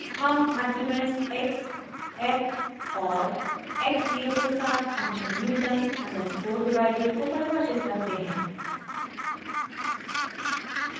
हम arguments x f और x 0 के साथ फंक्शन newton अंडरस्कोर divided को परिभाषित करते हैं